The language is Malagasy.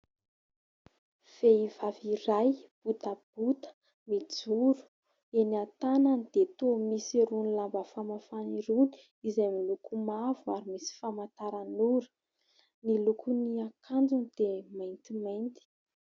Vehivavy iray, botabota mijoro. Eny an-tanany dia toa misy irony lamba famafana irony izay miloko mavo ary misy famantaran'ora, ny lokon'ny akanjony dia maintimainty.